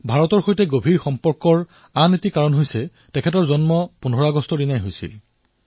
ভাৰতৰ সৈতে তেওঁ সম্পৰ্ক অটুট হোৱাৰ কাৰণ হল তেওঁৰ জন্মও ১৫ আগষ্ট তাৰিখে হৈছিল